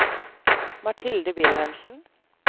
Mathilde Wilhelmsen